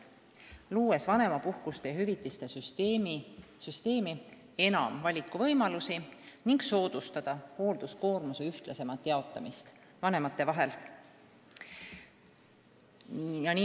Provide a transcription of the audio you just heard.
Selleks soovime luua vanemapuhkuse ja vanemhüvitise süsteemi enam valikuvõimalusi ning soodustada hoolduskoormuse ühtlasemat jaotamist vanemate vahel.